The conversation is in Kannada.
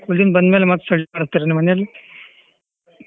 School ಇಂದ ಬಂದ್ ಮೇಲೆ study ಮಡಸ್ತಿರೇನು ನಿಮ್ ಮನೇಲಿ.